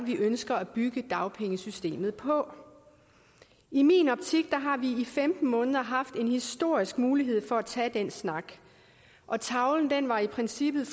vi ønsker at bygge dagpengesystemet på i min optik har vi i femten måneder haft en historisk mulighed for at tage den snak og tavlen har i princippet